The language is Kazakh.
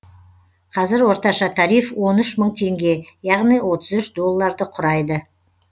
қазір орташа тариф он үш мың теңге яғни отыз үш долларды құрайды